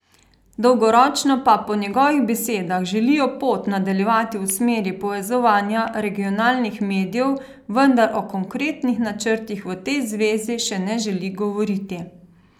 Dolgoročno pa po njegovih besedah želijo pot nadaljevati v smeri povezovanja regionalnih medijev, vendar o konkretnih načrtih v tej zvezi še ne želi govoriti.